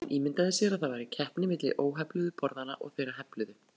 Hann ímyndaði sér að það væri keppni milli óhefluðu borðanna og þeirra hefluðu.